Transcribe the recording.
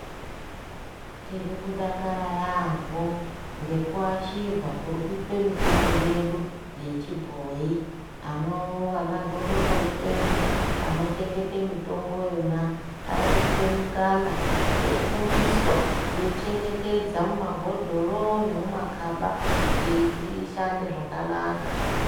Tirikudakara yaamho ngekuashirwa kuri kuitwe mitombo yedu yechibhoi. Vanagodobori vedu anochengete mitomboyona irikupiwe mikana eifundiswa kuichengetedze mumabhodhoro nemumakaba kuti ishande zvakanaka.